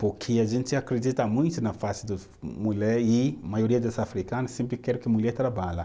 Porque a gente acredita muito na parte do mulher e a maioria dos africanos sempre querem que mulher trabalha.